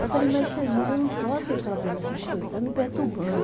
Eu falei, mas Jesus, eu não posso ficar vendo essas coisas, está me perturbando.